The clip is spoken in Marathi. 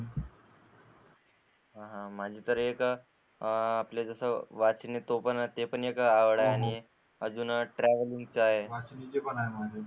माझी तर एक आपलं जस वाचन एक ते पण एक आवड आणि ट्रॅव्हल चा आहे.